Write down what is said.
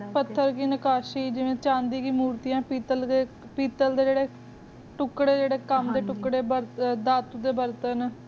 ਫਾਥਾਰ ਕੀ ਨਕਾਸ਼ੀ ਜਾਵੇਯਨ ਚੰਦੇਯਾਂ ਮੁਰ੍ਤੇਯਾ ਪੀਤਲ ਕੀ ਜੇਰੀ ਤੁਕਾਰੀ ਜੀਰੀ ਕਾਮ ਡੀ ਤੁਕ੍ਰੀ ਜੇਰੀ ਦਾਤ ਕੀ ਬੇਰ੍ਤੇੰ